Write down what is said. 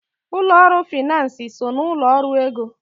Ụlọ ọrụ finansi so n'ụlọ ọrụ ego.